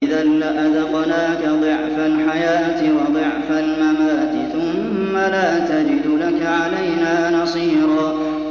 إِذًا لَّأَذَقْنَاكَ ضِعْفَ الْحَيَاةِ وَضِعْفَ الْمَمَاتِ ثُمَّ لَا تَجِدُ لَكَ عَلَيْنَا نَصِيرًا